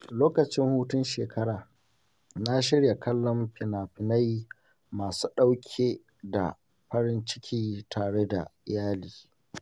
Lokacin hutun shekara, na shirya kallon fina-finai masu ɗauke da farin ciki tare da iyali.